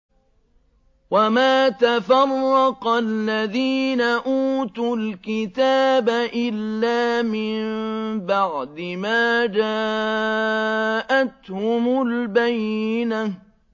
وَمَا تَفَرَّقَ الَّذِينَ أُوتُوا الْكِتَابَ إِلَّا مِن بَعْدِ مَا جَاءَتْهُمُ الْبَيِّنَةُ